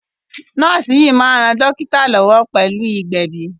Nọ́ọ́sì yìí máa ń ran dọ́kítá lọ́wọ́ pẹ̀lú ìgbẹ̀bi.